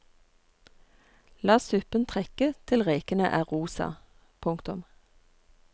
La suppen trekke til rekene er rosa. punktum